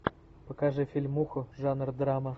покажи фильмуху жанр драма